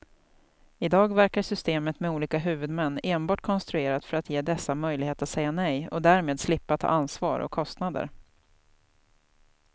I dag verkar systemet med olika huvudmän enbart konstruerat för att ge dessa möjlighet att säga nej och därmed slippa ta ansvar och kostnader.